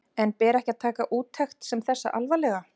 En ber ekki að taka úttekt sem þessa alvarlega?